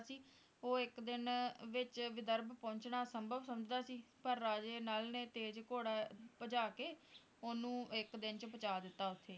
ਉਹ ਇੱਕ ਦਿਨ ਵਿਚ ਵਿਧਰਭ ਪਹੁੰਚਣਾ ਅਸੰਭਵ ਸਮਝਦਾ ਸੀ ਪਰ ਰਾਜੇ ਨਲ ਨੇ ਤੇਜ਼ ਘੋੜਾ ਭਜਾ ਕੇ ਓਹਨੂੰ ਇੱਕ ਦਿਨ ਵਿਚ ਪੁਚਾ ਦਿੱਤਾ ਉੱਥੇ